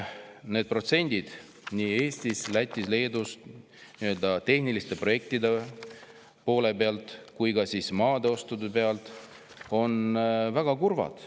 Need protsendid Eestis, Lätis ja Leedus nii tehniliste projektide kohta kui ka maade ostu kohta on väga kurvad.